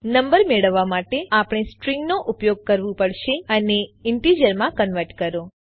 number મેળવવા માટે આપણે સ્ટ્રીંગનો ઉપયોગ કરવું પડશે અને ઈન્ટીજરમાં કન્વર્ટ કરો